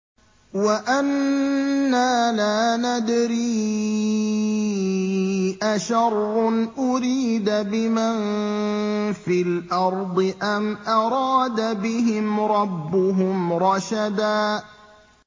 وَأَنَّا لَا نَدْرِي أَشَرٌّ أُرِيدَ بِمَن فِي الْأَرْضِ أَمْ أَرَادَ بِهِمْ رَبُّهُمْ رَشَدًا